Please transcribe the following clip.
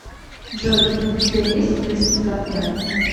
джой у тебя есть близкий партнер